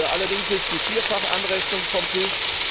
Allerdings ist die Vierfach Anrechnung vom Tisch.